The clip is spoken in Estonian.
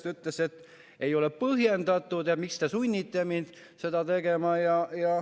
Ta ütles, et see ei ole põhjendatud ja miks teda sunnitakse seda tegema.